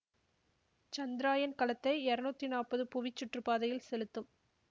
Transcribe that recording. சந்திராயன் கலத்தை இருநூத்தி நாப்பது புவிச் சுற்றுப்பாதையில் செலுத்தும்